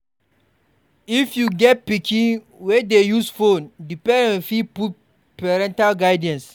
If you get pikin wey dey use phone di parent fit put parental guidance